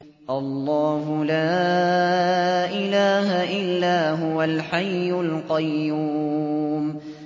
اللَّهُ لَا إِلَٰهَ إِلَّا هُوَ الْحَيُّ الْقَيُّومُ